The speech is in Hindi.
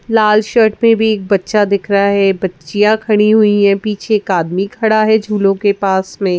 लाल शर्ट में भी एक बच्चा दिख रहा है बच्चियाँ खड़ी हुई हैं पीछे एक आदमी खड़ा है झूलों के पास में।